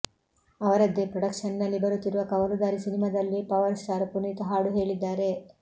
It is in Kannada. ಅವರದ್ದೇ ಪ್ರೊಡಕ್ಷನ್ ನಲ್ಲಿ ಬರುತ್ತಿರುವ ಕವಲುದಾರಿ ಸಿನಿಮಾದಲ್ಲಿ ಪವರ್ ಸ್ಟಾರ್ ಪುನೀತ್ ಹಾಡು ಹೇಳಿದ್ದಾರೆ